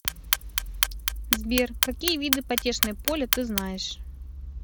сбер какие виды потешное поле ты знаешь